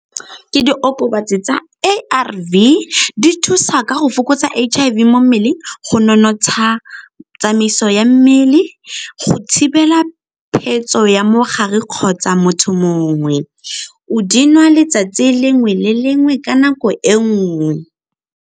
Ke diokobatsi tsa A_R_V, di thusa ka go fokotsa H_I_V mo mmeleng, go nonotsha tsamaiso ya mmele, go thibela phetso ya mogare kgotsa motho mongwe. O di nwa letsatsi lengwe le lengwe ka nako e nngwe.